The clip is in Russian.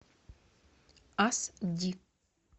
ас ди